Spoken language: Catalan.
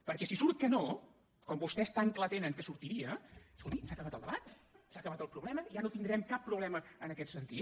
perquè si surt que no com vostès tan clar tenen que sortiria escolti s’ha acabat el debat s’ha acabat el problema ja no tindrem cap problema en aquest sentit